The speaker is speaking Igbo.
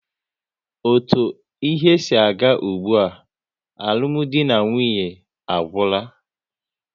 Otu ihe si aga ụgbụa, alụmdi na nwunye ha agwụla